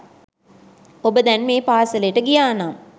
ඔබ දැන් මේ පාසෙලට ගියානම්